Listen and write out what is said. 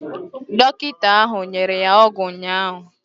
Dọkịta ahụ nyere ya ọgwụ ụnyaahụ.